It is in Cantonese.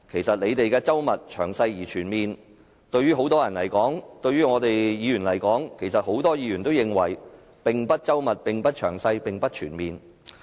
政府認為周密、詳細而全面的過程，在很多人和議員而言其實一點也不周密、詳細、全面。